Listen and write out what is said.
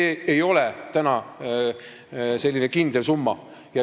See ei ole praegu üldse mingi kindel summa.